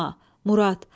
Murad.